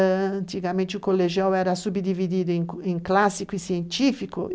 Antigamente, o colegial era subdividido em clássico e científico.